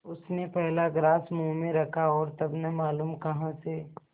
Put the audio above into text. उसने पहला ग्रास मुँह में रखा और तब न मालूम कहाँ से